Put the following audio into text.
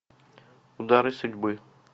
удары судьбы